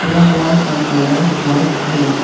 दीवार का कलर है व्हाइट है।